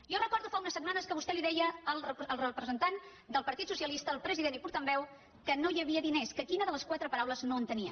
jo recordo fa unes setmanes que vostè deia al representant del partit socialista al president i portaveu que no hi havia diners que quina de les quatre paraules no entenia